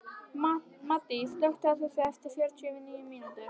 Maddý, slökktu á þessu eftir fjörutíu og níu mínútur.